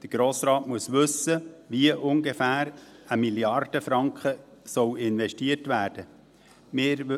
Der Grosse Rat muss wissen, wie eine Mrd. Franken ungefähr investiert werden soll.